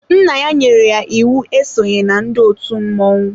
Nna ya nyere ya íwú e sonyela ndị òtù mmọnwụ.